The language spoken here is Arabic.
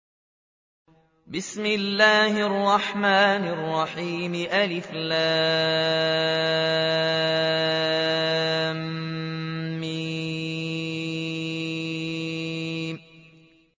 الم